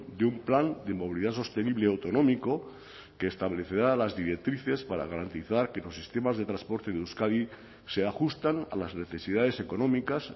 de un plan de movilidad sostenible autonómico que establecerá las directrices para garantizar que los sistemas de transporte de euskadi se ajustan a las necesidades económicas